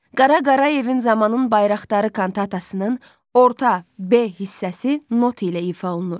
Qara Qarayevin "Zamanın Bayraqdarı" kantatasının orta, B hissəsi not ilə ifadə olunur.